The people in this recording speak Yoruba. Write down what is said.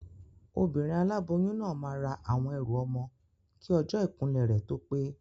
Obìnrin aláboyún náà máa ra àwọn ẹrù ọmọ kí ọjọ́ ìkúnlẹ̀ rẹ̀ tó pé